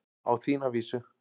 Á þína vísu.